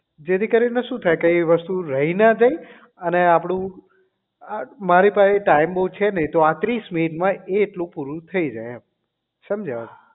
જેથી કરીને શું થાય કે એ વસ્તુ રહી ના જાય અને આપણું મારી પાહે time બહુ છે નહીં પાત્રીસ મિનિટ માં એ એટલું પૂરું થા જાય એમ સમજ્યા